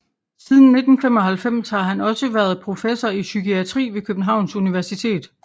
Siden 1995 har han også været professor i psykiatri ved Københavns Universitet